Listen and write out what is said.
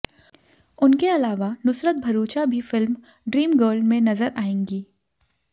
उनके अलावा नुसरत भरूचा भी फिल्म ड्रीम गर्ल में नज़र आएंगी